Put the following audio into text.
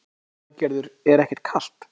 Lillý Valgerður: Er ekkert kalt?